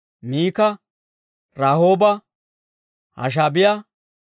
Miika, Rahooba, Hashaabiyaa,